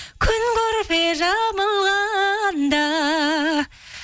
күн көрпе жамылғанда